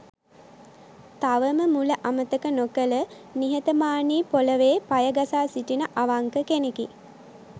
තවම මුල අමතක නොකළ නිහතමානී පොළොවේ පය ගසා සිටින අවංක කෙනෙකි.